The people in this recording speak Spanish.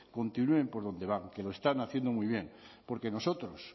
continúen por donde van que lo están haciendo muy bien porque nosotros